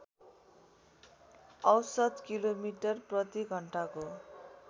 औसत किलोमिटर प्रतिघण्टाको